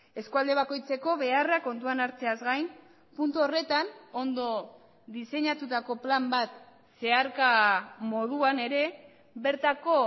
eskualde bakoitzeko beharrak kontuan hartzeaz gain puntu horretan ondo diseinatutako plan bat zeharka moduan ere bertako